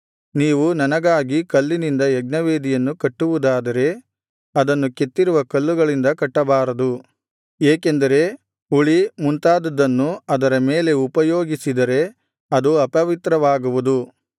ನೀವು ನನಗಾಗಿ ಕಲ್ಲಿನಿಂದ ಯಜ್ಞವೇದಿಯನ್ನು ಕಟ್ಟುವುದಾದರೆ ಅದನ್ನು ಕೆತ್ತಿರುವ ಕಲ್ಲುಗಳಿಂದ ಕಟ್ಟಬಾರದು ಏಕೆಂದರೆ ಉಳಿ ಮುಂತಾದುದನ್ನು ಅದರ ಮೇಲೆ ಉಪಯೋಗಿಸಿದರೆ ಅದು ಅಪವಿತ್ರವಾಗುವುದು